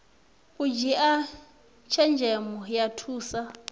u dzhia tshenzhemo ya thusa